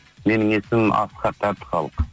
менің есімім асхат әбдіхалық